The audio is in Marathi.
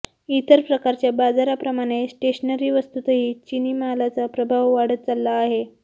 इतर प्रकारच्या बाजाराप्रमाणे स्टेशनरी वस्तूंतही चिनी मालाचा प्रभाव वाढत चालला आहे